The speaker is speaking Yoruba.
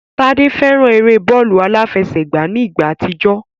Tádé fẹ́ran eré bọ́ọ̀lù aláfẹsẹ̀gbá ní ìgbà àtijọ́